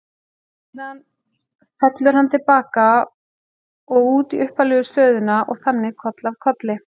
Síðan fellur hann til baka og út í upphaflegu stöðuna og þannig koll af kolli.